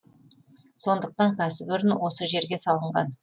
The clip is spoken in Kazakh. сондықтан кәсіпорын осы жерге салынған